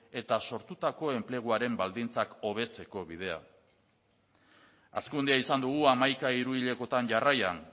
eta sortutako enpleguaren baldintzak hobetzeko bidea hazkundea izan dugu hamaika hiru hilekotan jarraian